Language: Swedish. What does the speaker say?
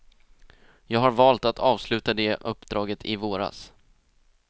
Jag har valt att avsluta det uppdraget i våras.